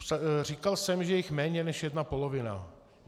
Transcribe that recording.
Říkal jsem, že jich je méně než jedna polovina.